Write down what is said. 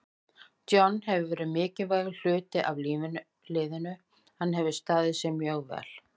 John hefur verið mikilvægur hluti af liðinu, hann hefur staðið sig mjög vel.